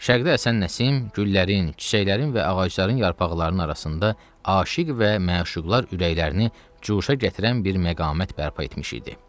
Şəqdə Həsən Nəsim güllərin, çiçəklərin və ağacların yarpaqlarının arasında aşiq və məşuqlar ürəklərini cuşa gətirən bir məqamət bərpa etmiş idi.